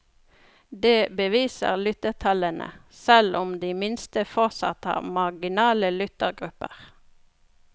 Det beviser lyttertallene, selv om de minste fortsatt har marginale lyttegrupper.